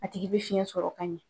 A tigi bɛ fiyɛn sɔrɔ ka ɲɛ .